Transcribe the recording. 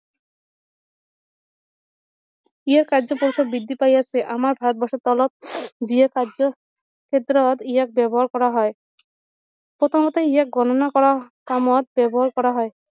ইয়াৰ কাৰ্য পৰিসৰ বৃদ্ধি পায় আছে আমাৰ ভাৰত বৰ্ষৰ তলত যিয়ে এই কাৰ্য ক্ষেত্ৰত ইয়াক ব্যৱহাৰ কৰা হয় প্ৰথমতে ইয়াক গণনা কৰা কামত ব্যৱহাৰ কৰা হয়